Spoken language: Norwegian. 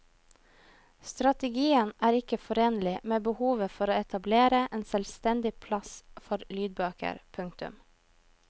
Strategien er ikke forenlig med behovet for å etablere en selvstendig plass for lydbøker. punktum